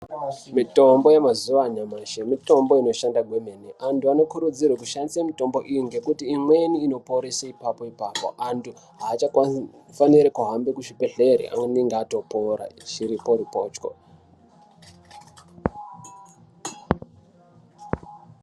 Mitombo yemazuwa anyamashi mitombo inoshanda kwemene antu anokurudzirwe kushandise mitombo iyi ngekuti imweni inoporese ipapo ipapo antu achafaniri kuhambe kuzvibhedhlere anenge atopora chiripo ripocho.